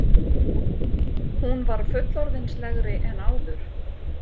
Hún var fullorðinslegri en áður.